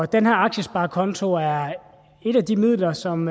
den her aktiesparekonto er et af de midler som